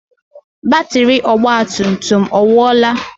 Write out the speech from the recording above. Batiri ọgba tum tum ọ nwuola?